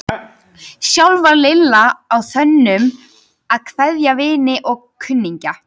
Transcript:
Sjálf var Lilla á þönum að kveðja vini og kunningja.